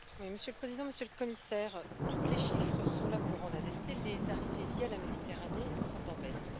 Monsieur le Président, Monsieur le Commissaire, tous les chiffres sont là pour en attester les arrivées via la Méditerranée sont en baisse.